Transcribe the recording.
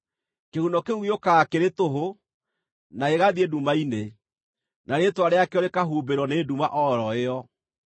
Kĩhuno kĩu gĩũkaga kĩrĩ tũhũ, na gĩgathiĩ nduma-inĩ, na rĩĩtwa rĩakĩo rĩkahumbĩrwo nĩ nduma o ro ĩyo.